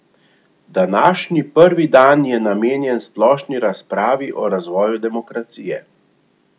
Današnji prvi dan je namenjen splošni razpravi o razvoju demokracije.